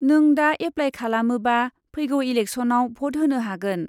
नों दा एप्लाय खालामोबा फैगौ इलेकसनआव भट होनो हागोन।